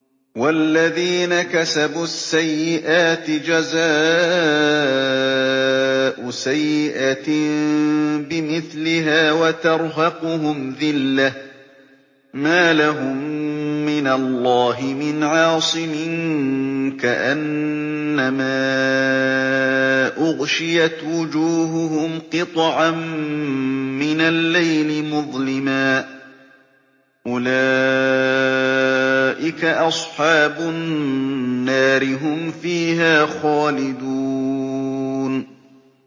وَالَّذِينَ كَسَبُوا السَّيِّئَاتِ جَزَاءُ سَيِّئَةٍ بِمِثْلِهَا وَتَرْهَقُهُمْ ذِلَّةٌ ۖ مَّا لَهُم مِّنَ اللَّهِ مِنْ عَاصِمٍ ۖ كَأَنَّمَا أُغْشِيَتْ وُجُوهُهُمْ قِطَعًا مِّنَ اللَّيْلِ مُظْلِمًا ۚ أُولَٰئِكَ أَصْحَابُ النَّارِ ۖ هُمْ فِيهَا خَالِدُونَ